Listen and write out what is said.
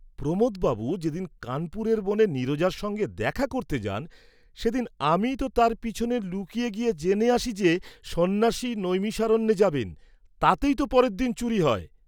প্রমোদ বাবু যেদিন কানপুরের বনে নীরজার সঙ্গে দেখা করতে যান, সেদিন আমিই ত তাঁর পিছনে লুকিয়ে গিয়ে জেনে আসি যে সন্ন্যাসী নৈমিষারণ্যে যাবেন; তাতেই ত পরের দিন চুরী হয়।